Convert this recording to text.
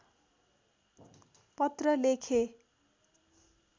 पत्र लेखे